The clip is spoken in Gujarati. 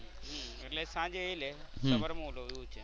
એટલે સાંજે એ લે ને સવારે હું લવ એવું છે.